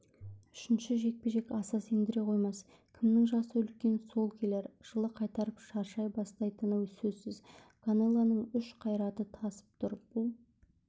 үшінші жекпе-жек аса сендіре қоймас кімнің жасы үлкен сол келер жылы қартайып шаршай бастайтыны сөзсіз канелоның күш қайраты тасып тұр бұл